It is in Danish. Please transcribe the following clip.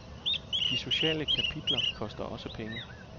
De sociale kapitler koster også penge.